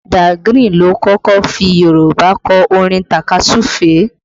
Da Grin ló kọ́kọ́ fi Yorùbá kọ orin takasufe